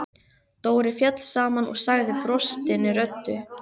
Dóri féll saman og sagði brostinni röddu: